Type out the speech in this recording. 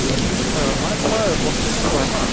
হয় হয় মানে তোমাৰ বস্তু কেনেকুৱা হয় ন